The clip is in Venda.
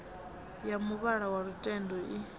ya muvhala wa lutendo i